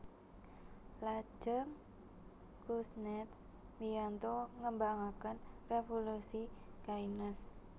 Lajeng Kuznets mbiyantu ngembangaken revolusi Keynes